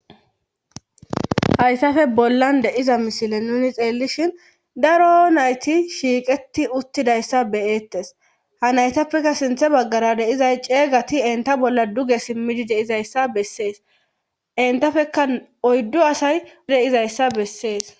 hayssafe bollan deiza mishile nuni xeellishhin daro nayti shiiqeti uttidayssa beyeettes ha naytappeka sinthe baggara deizay ceeygati enta bolla duge simmidi deizayssa bessees entafeka oyddo asay deizayssa bessees